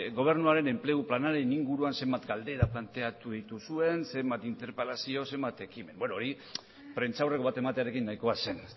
gobernuaren enplegu planaren inguruan zenbat galdera planteatu dituzuen zenbat interpelazio zenbat ekimen beno hori prentsaurreko bat ematearekin nahikoa zen